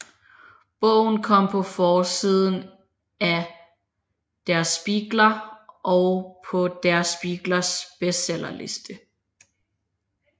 Bogen kom på forsiden af Der Spiegel og på Der Spiegels bestseller liste